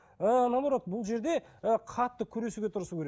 ы наоборот бұл жерде ы қатты күресуге тырысу керек